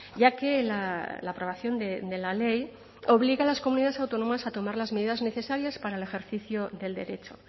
ya que la aprobación de la ley obliga a las comunidades autónomas a tomar las medidas necesarias para el ejercicio del derecho